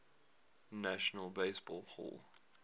national baseball hall